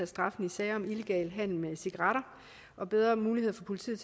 straffen i sager om illegal handel med cigaretter og bedre muligheder for politiet